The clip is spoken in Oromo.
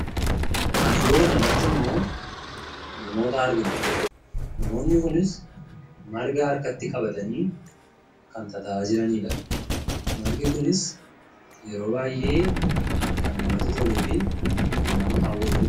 Iddoo kanarratti immoo namoota argina. Namoonni kunis ,marga harkatti qabatanii kan tataa'aa jiraniidha. Margi kunis yeroo baay'ee kan namatti toluu fi kan nama hawwatuu dha.